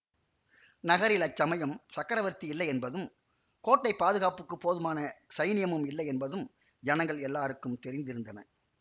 நகரில் அச்சமயம் சக்கரவர்த்தி இல்லை என்பதும் கோட்டைப் பாதுகாப்புக்குப் போதுமான சைனியமும் இல்லையென்பதும் ஜனங்கள் எல்லோருக்கும் தெரிந்திருந்தன